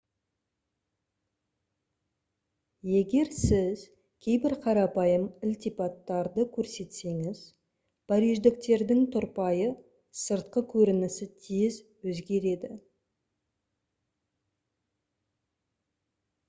егер сіз кейбір қарапайым ілтипаттарды көрсетсеңіз париждіктердің тұрпайы сыртқы көрінісі тез өзгереді